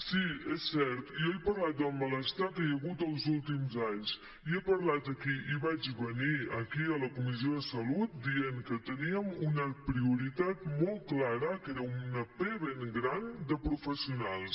sí és cert jo he parlat del malestar que hi ha hagut els últims anys i he parlat aquí i vaig venir aquí a la comissió de salut dient que teníem una prioritat molt clara que era una pe ben gran de professionals